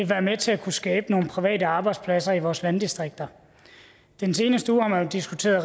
være med til at kunne skabe nogle private arbejdspladser i vores landdistrikter den seneste uge har man jo diskuteret